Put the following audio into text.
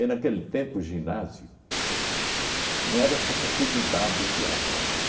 naquele tempo, o ginásio não era essa facilidade que há não